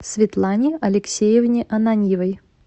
светлане алексеевне ананьевой